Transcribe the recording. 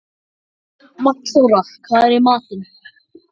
Magnþóra, hvað er í matinn?